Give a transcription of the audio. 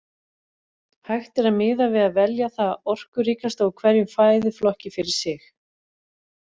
Hægt er að miða við að velja það orkuríkasta úr hverjum fæðuflokki fyrir sig.